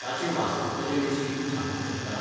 ताचे वास्तुकले विशीं तूं सांगूंक शकता?